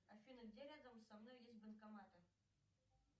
афина где рядом со мной есть банкоматы